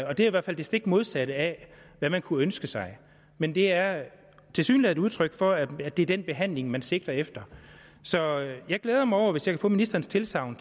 og det er i hvert fald det stik modsatte af hvad man kunne ønske sig men det er tilsyneladende et udtryk for at det er den behandling man sigter efter så jeg glæder mig over hvis jeg kan få ministerens tilsagn